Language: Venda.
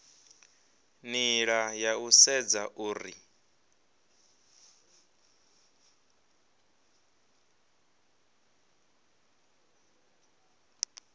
nila ya u sedza uri